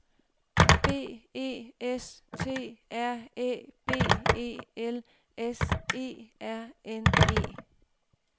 B E S T R Æ B E L S E R N E